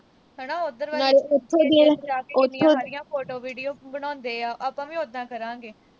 ਹਨਾ ਉਧਰ ਜਾ ਕੇ ਜਿਵੇਂ ਸਾਰੇ ਕਿੰਨੀਆਂ ਸਾਰੀਆਂ photos, videos ਬਣਾਉਂਦੇ ਆ। ਆਪਾਂ ਵੀ ਉਦਾਂ ਹੀ ਕਰਾਂਗੇ।